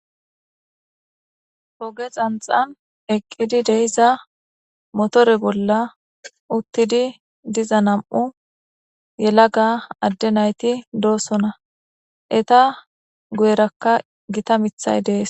hoge xanxan eqqidi deiza motore bolla uttidi diza nam7u yelaga adde nayti doosona eta guyerakka gita mithay dees